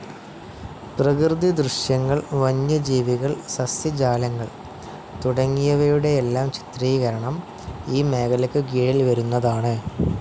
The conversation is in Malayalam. പ്രകൃതി ദൃശ്യങ്ങൾ, വന്യജീവികൾ, സസ്യജാലങ്ങൾ തുടങ്ങിയവയുടെയെല്ലാം ചിത്രീകരണം ഈ മേഖലക്ക് കീഴിൽ വരുന്നതാണ്.